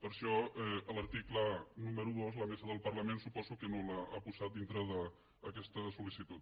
per això l’article número dos la mesa del parlament suposo que no l’ha posat dintre d’aquesta sol·licitud